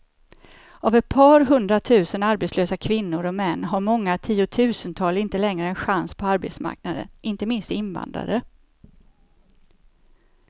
Av ett par hundratusen arbetslösa kvinnor och män har många tiotusental inte längre en chans på arbetsmarknaden, inte minst invandrare.